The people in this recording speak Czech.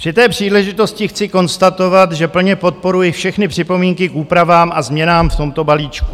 Při té příležitosti chci konstatovat, že plně podporuji všechny připomínky k úpravám a změnám v tomto balíčku.